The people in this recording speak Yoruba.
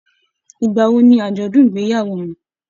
Ìgbà wò ní ajọdun ìgbéyàwó wọn?